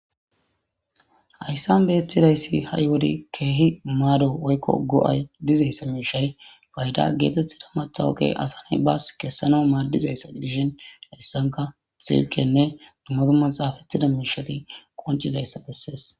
Hayssan beyettidayssi ha'i wode keehi maado woykko go'ay dizayssa miishshay fayda geetettida matha oge asa na'ay baas kessana maaddizayssa gidishen hessanka silkenne dumma dumma xaafettida miishshati koncizayssa bessees.